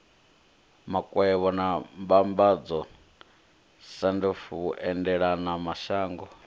makwevho na mbambadzo sandf vhuendelamashango